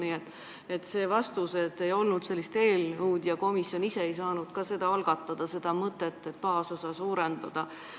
Nii et miks vastata, et ei olnud sellist eelnõu ja komisjon ise ei saanud ka algatada mõtet, et baasosa võiks suurendada.